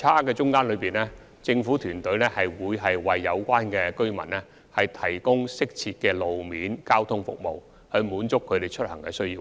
在這段差距期間，政府團隊會為有關的居民提供適切的路面交通服務，以滿足他們的出行需要。